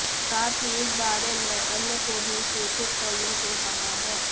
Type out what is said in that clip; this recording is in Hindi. साथ ही इस बारे में अन्य को भी सूचित करने को कहा है